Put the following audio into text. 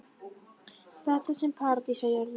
Þetta var sem paradís á jörð.